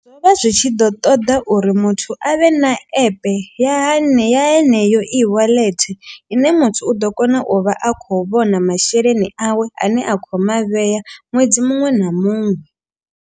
Zwo vha zwi tshi ḓo ṱoḓa uri muthu avhe na app ya haneya heneyo E wallet. Ine muthu u ḓo kona u vha a kho vhona masheleni awe a ne a khou mavhea ṅwedzi muṅwe na muṅwe.